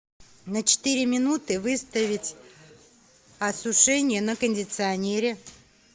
на четыре минуты выставить осушение на кондиционере